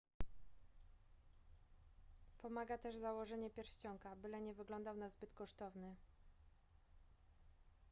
pomaga też założenie pierścionka byle nie wyglądał na zbyt kosztowny